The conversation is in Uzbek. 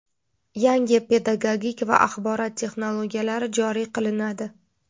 yangi pedagogik va axborot texnologiyalari joriy qilinadi.